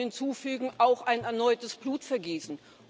Und ich möchte hinzufügen auch ein erneutes Blutvergießen.